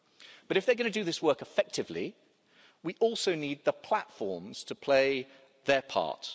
But if they're going to do this work effectively, we also need the platforms to play their part.